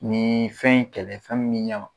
Nin fɛn in kɛlɛ fɛn min be ɲɛma